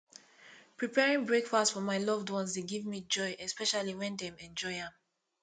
preparing breakfast for my loved ones dey give me joy especially when dem enjoy am